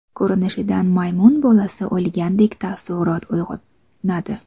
Ko‘rinishidan maymun bolasi o‘lgandek taassurot uyg‘onadi.